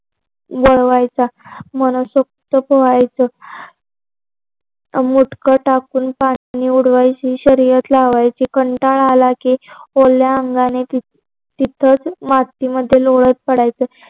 वळवायचा मनसोक्त पोहायचे उडवायची शर्यत लावायची कंटाळा आला की ओल्या अंगाने तिथंच मातीमध्ये लोळत पडायचं